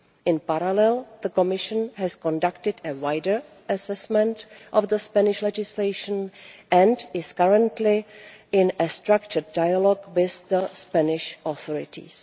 In parallel, the Commission has conducted a wider assessment of the Spanish legislation and is currently in a structured dialogue with the Spanish authorities.